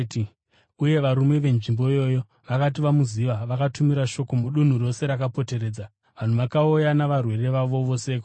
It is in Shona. Uye varume venzvimbo iyoyo vakati vamuziva, vakatumira shoko mudunhu rose rakapoteredza. Vanhu vakauya navarwere vavo vose kwaari